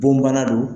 Bon bana don